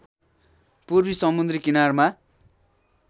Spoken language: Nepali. पूर्वी समुद्री किनारमा